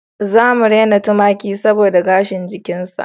Za mu rena tumaki saboda gashin jikinsa